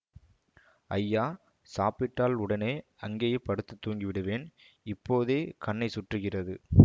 ஐயா சாப்பிட்டால் உடனே அங்கேயே படுத்துத் தூங்கி விடுவேன் இப்போதே கண்ணை சுற்றுகிறது